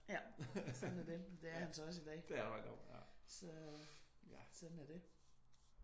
Ja sådan er det. Det er han så også i dag så sådan er det